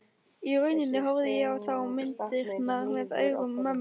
Í rauninni horfði ég þá á myndirnar með augum mömmu.